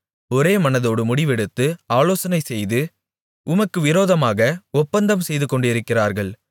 ஒரே மனதோடு முடிவெடுத்து ஆலோசனைசெய்து உமக்கு விரோதமாக ஒப்பந்தம் செய்துகொண்டிருக்கிறார்கள்